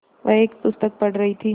वह एक पुस्तक पढ़ रहीं थी